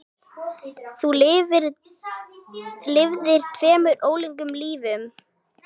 Þú lifðir tveimur ólíkum lífum.